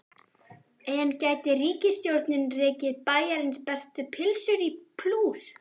En gæti ríkisstjórnin rekið Bæjarins bestu pylsur í plús?